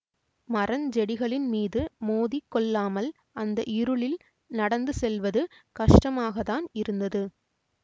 மரஞ் செடிகளின் மீது மோதி கொள்ளாமல் அந்த இருளில் நடந்து செல்லுவது கஷ்டமாகத்தான் இருந்தது